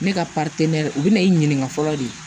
Ne ka u bɛna i ɲininka fɔlɔ de